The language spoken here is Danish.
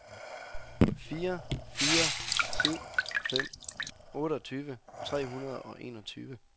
fire fire syv fem otteogtyve tre hundrede og enogtyve